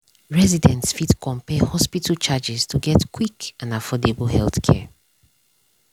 residents fit compare hospital charges to get quick and affordable healthcare.